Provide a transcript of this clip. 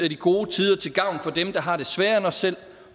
de gode tider til gavn for dem der har det sværere end os selv